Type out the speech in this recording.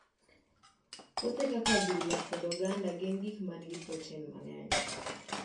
Puothe kaka adhula kod oganda gin gik ma nigi protein mang'eny.